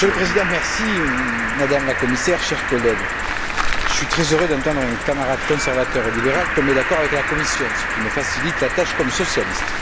Monsieur le Président, Madame la Commissaire, chers collègues, je suis très heureux d'entendre un camarade conservateur et libéral tomber d'accord avec la Commission, ce qui me facilite la tâche comme socialiste.